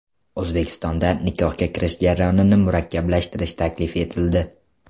O‘zbekistonda nikohga kirish jarayonini murakkablashtirish taklif etildi.